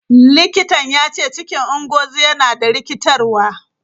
Likitan ya ce cikin Ngozi yana da rikitarwa.